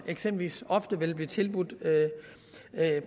eksempelvis ofte vil blive tilbudt